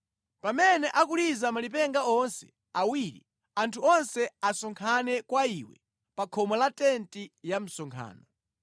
Pamene akuliza malipenga onse awiri, anthu onse asonkhane kwa iwe pa khomo la tenti ya msonkhano.